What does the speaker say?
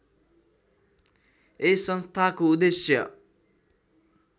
यस संस्थाको उद्देश्य